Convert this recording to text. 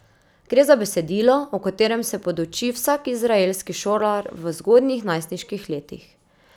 Gre za besedilo, o katerem se poduči vsak izraelski šolar v zgodnjih najstniških letih.